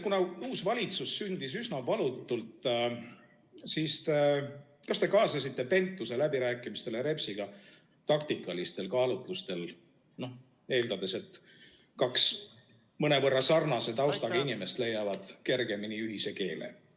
Kuna uus valitsus sündis üsna valutult, siis kas te kaasasite Pentuse läbirääkimistele Repsiga taktikalistel kaalutlustel, eeldades, et kaks mõnevõrra sarnase taustaga inimest leiavad kergemini ühise keele?